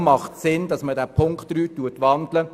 Deshalb macht es Sinn, Punkt 3 in ein Postulat zu wandeln.